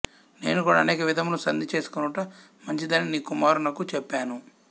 నేను కూడా అనేక విధముల సంధి చేసుకొనుట మంచిదని నీకుమారునకు చెప్పాను